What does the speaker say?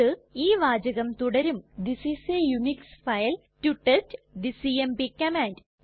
അത് ഈ വാചകം തുടരും this is a Unix file to test the CMP command